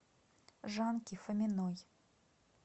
жанки фоминой